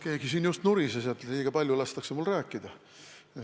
Keegi siin just nurises, et mul lastakse liiga palju rääkida.